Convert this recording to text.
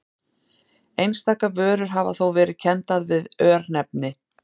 Einstaka vörur hafa þó verið kenndar við örnefni.